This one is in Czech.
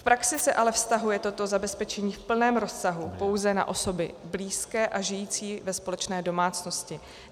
V praxi se ale vztahuje toto zabezpečení v plném rozsahu pouze na osoby blízké a žijící ve společné domácnosti.